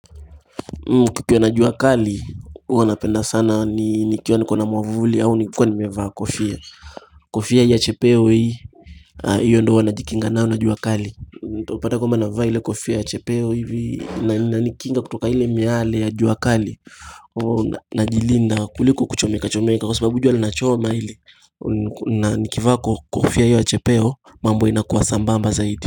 Kukiwa na jua kali huwa napenda sana nikiwa niko na mwavuli au nikiwa nimevaa kofia Kofia hii ya chepeo hii Iyo ndio huwa najikinga nayo na jua kali utapata kwamba napo vaa ile kofia ya chepeo hivi inanikinga kutokana na ile miale ya jua kali Najilinda kuliko kuchomeka chomeka kwa sababu jua lina choma hili na nikivaa kofia hiyo ya chepeo mambo inakuwa sambamba zaidi.